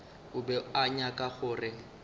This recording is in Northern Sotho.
o be a nyaka gore